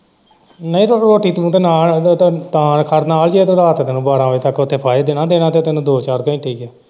ਨਹੀਂ ਰੋਟੀ ਤੂੰ ਨਾਲ ਤੇ ਤਾਂ ਖੜ ਨਾਲ ਜੇ ਤੈਨੂੰ ਰਾਤ ਦੇ ਤੈਨੂੰ ਬਾਰਾਂਹ ਵਜੇ ਤੱਕ ਉੱਥੇ ਫਾਹੇ ਦੇਣਾ ਦੇਣਾ ਤੇ ਤੈਨੂੰ ਦੋ ਚਾਰ ਘੰਟੇ ਹੀ ਹੈ।